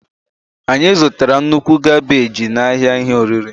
Anyị zụtara nnukwu kabeji n'ahịa ihe oriri.